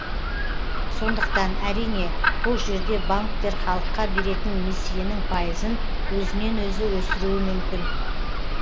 сондықтан әрине бұл жерде банктер халыққа беретін несиенің пайызын өзінен өзі өсіруі мүмкін